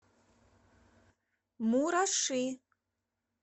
мураши